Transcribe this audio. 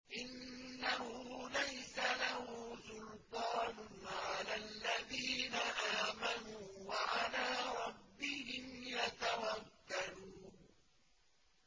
إِنَّهُ لَيْسَ لَهُ سُلْطَانٌ عَلَى الَّذِينَ آمَنُوا وَعَلَىٰ رَبِّهِمْ يَتَوَكَّلُونَ